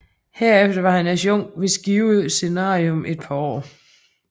Herefter var han adjunkt ved Skive Seminarium et par år